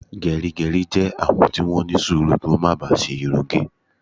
Gerigeri jẹ́ àwọn tí wón ní sùúrù kí wón má bá si irun ge